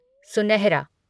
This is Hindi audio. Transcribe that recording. सुनहरा